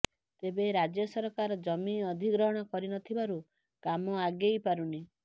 ତେବେ ରାଜ୍ୟସରକାର ଜମି ଅଧିଗ୍ରହଣ କରୁନଥିବାରୁ କାମ ଆଗେଇ ପାରୁନି